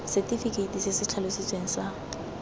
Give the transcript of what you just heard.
setefikeite se se tlhalositsweng sa